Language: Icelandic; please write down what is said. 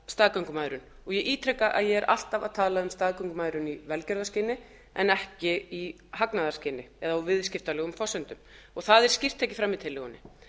staðgöngumæðrun og ég ítreka að ég er alltaf að tala um staðgöngumæðrun í velferðarskyni en ekki í hagnaðarskyni eða á viðskiptalegum forsendum og það er skýrt tekið fram í tillögunni